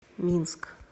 минск